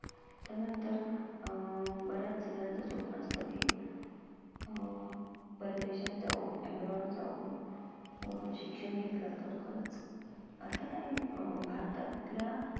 त्यानंतर अं बऱ्याचजनांचं स्वप्न असतं की अं परदेशात जाऊन abroad जाऊन अं शिक्षण घेतलं तर खरंच अर्थात आणि अं भारतातल्या